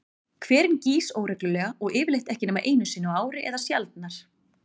Hverinn gýs óreglulega og yfirleitt ekki nema einu sinni á ári eða sjaldnar.